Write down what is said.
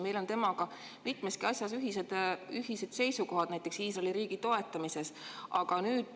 Meil on temaga mitmeski asjas ühised seisukohad, näiteks Iisraeli riigi toetamise suhtes.